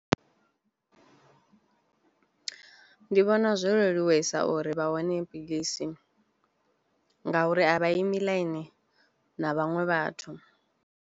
Ndi vhona zwo leluwesa uri vha wane philisi nga uri a vha imi ḽaini na vhaṅwe vhathu.